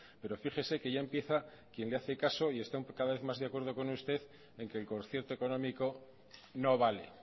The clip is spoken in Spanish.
pero fíjese que ya empieza quien le hace caso y está cada vez mas de acuerdo con usted en que el concierto económico no vale